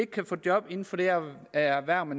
kan få job inden for det erhverv